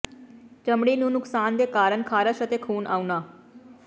ਚਮੜੀ ਨੂੰ ਨੁਕਸਾਨ ਦੇ ਕਾਰਨ ਖਾਰਸ਼ ਅਤੇ ਖੂਨ ਆਉਣਾ